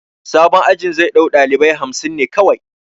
Sabon ajin zai ɗau ɗalibai hamsin ne kawai